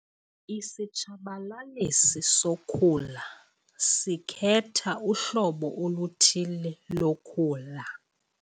Isitshabalalisi sokhula sikhetha uhlobo oluthile lokhula.